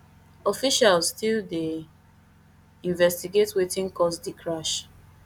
officials still dey investigate wetin cause di crash